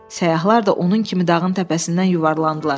Səyyahlar da onun kimi dağın təpəsindən yuvarlandılar.